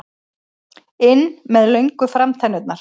inn með löngu framtennurnar.